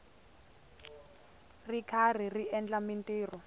ri karhi a endla mintirho